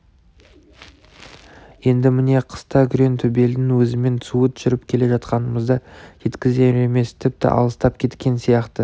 енді міне қыста күреңтөбелдің өзімен суыт жүріп келе жатқанымызда жеткізер емес тіпті алыстап кеткен сияқты